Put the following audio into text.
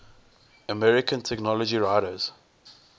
american technology writers